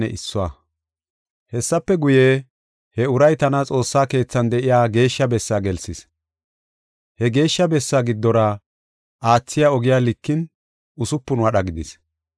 Hessafe guye, he uray tana Xoossaa keethan de7iya Geeshsha Bessaa gelsis. He Geeshsha Bessaa giddora aathiya ogiya likin usupun wadha gidis.